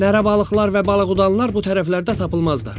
Nərə balıqlar və balığıdanlar bu tərəflərdə tapılmazlar.